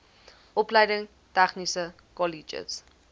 opleiding tegniese kolleges